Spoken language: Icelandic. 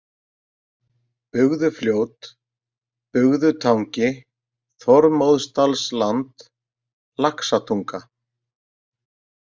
Bugðufljót, Bugðutangi, Þormóðsdalsland, Laxatunga